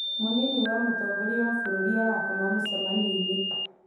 Mũnini wa mũtongoria wa bũrũri arakoma mũcemanioinĩ